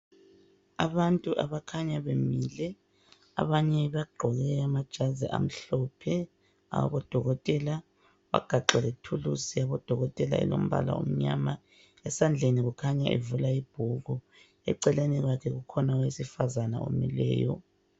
Abantu abakhanya bemile. Abanye bagqoke amajazi amhlophe awabodokoteka. Bagaxe lethuluzi yabodokotela alombala omnyama. Esandleni kukhanya evula ibhuku. Eceleni kwabo kukhona owesifazana omileyo.